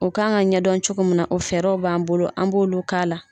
O kan ka ɲɛdɔn cogo min na o fɛɛrɛw b'an bolo an b'olu k'a la.